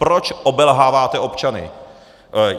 Proč obelháváte občany?